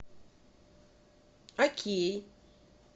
окей